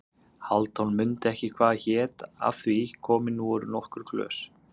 Hálfdán mundi ekki hvað hét af því komin voru nokkur glös.